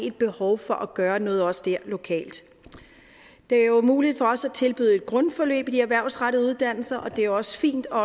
et behov for at gøre noget også der lokalt det er jo muligt for os at tilbyde et grundforløb i de erhvervsrettede uddannelser er det er også fint og